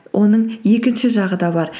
оның екінші жағы да бар